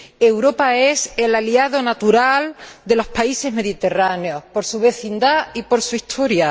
Europa es el aliado natural de los países mediterráneos, por su vecindad y por su historia.